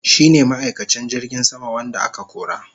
shine ma'aikacin jirgin sama wanda aka kora.